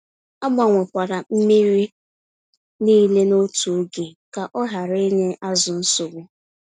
Agbanwe kwala mmírí nile n'otu ógè, kọ hara ịnye azụ nsogbu.